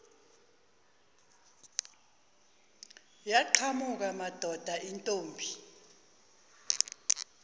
yaqhamuka madoda intombi